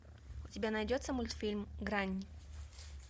у тебя найдется мультфильм грань